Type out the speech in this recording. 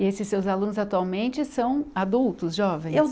E esses seus alunos atualmente são adultos, jovens? Eu